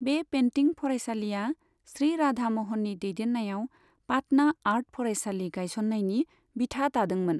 बे पेन्टिं फरायसालिया श्री राधा म'हननि दैदेननायाव पाटना आर्ट फरायसालि गायसननायनि बिथा दादोंमोन।